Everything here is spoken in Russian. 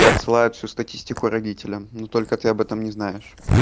я отсылаю всю статистику родителям но только ты об этом не знаешь